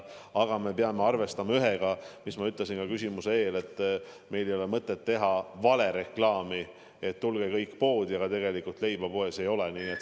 Aga me peame arvestama, nagu ma juba ütlesin, sellega, et meil ei ole mõtet teha valereklaami, et tulge kõik poodi, aga tegelikult leiba poes ei ole.